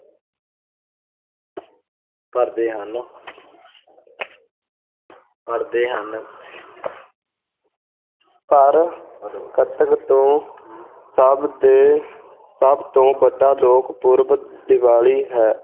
ਭਰਦੇ ਹਨ ਭਰਦੇ ਹਨ ਪਰ ਕੱਤਕ ਤੋਂ ਸਭ ਤੋਂ ਵੱਡਾ ਲੋਕ ਪੁਰਬ ਦੀਵਾਲੀ ਹੈ,